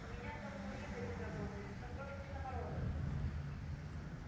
у меня там мужик один работает ну просто самородок